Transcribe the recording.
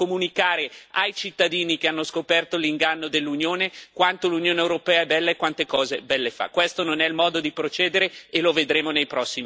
Decide di chiedere più soldi per la propaganda, per comunicare ai cittadini che hanno scoperto l'inganno dell'Unione quanto l'Unione europea è bella e quante cose belle fa.